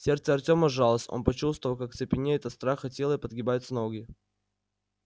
сердце артёма сжалось он почувствовал как цепенеет от страха тело и подгибаются ноги